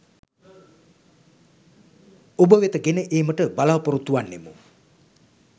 ඔබ වෙත ගෙන ඒමට බලාපොරොත්තු වන්නෙමු.